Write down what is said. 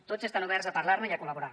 tots estan oberts a parlar ne i a col·laborar